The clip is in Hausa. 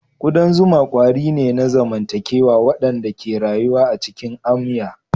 Kudan zuma kwari ne na zamantakewa waɗanda ke rayuwa a cikin amya.